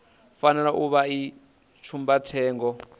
fanela u vha i tsumbathengo